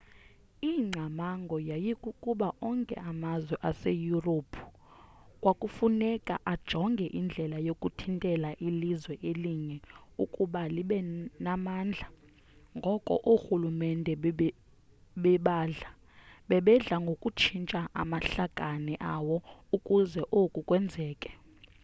ingcamango yayikukuba onke amazwe seyurophu kwakufuneka ajonge indlela yokuthintela ilizwe elinye ukuba lebe namandla ngoko oorhulumente babedla ngokutshintsha amahlakane awo ukuze oku kwenzeke